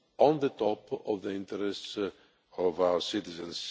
at the top of the interests of our citizens.